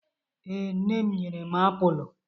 ee, nne m nyere m apulu